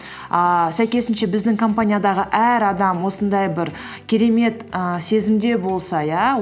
ііі сәйкесінше біздің компаниядағы әр адам осындай бір керемет і сезімде болса иә